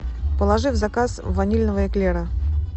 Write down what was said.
положи в заказ ванильного эклера